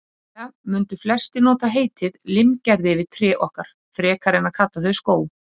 Líklega mundu flestir nota heitið limgerði yfir trén okkar, frekar en að kalla þau skóg.